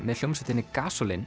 með hljómsveitinni